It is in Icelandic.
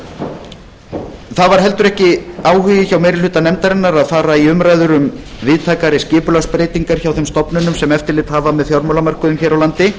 ekki var heldur áhugi hjá meiri hluta nefndarinnar að fara í umræður um víðtækari skipulagsbreytingar hjá þeim stofnunum sem eftirlit hafa með fjármálamörkuðum hér á landi